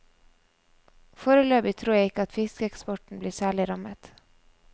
Foreløpig tror jeg ikke at fiskeeksporten blir særlig rammet.